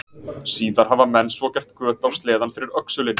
Síðar hafa menn svo gert göt á sleðann fyrir öxulinn.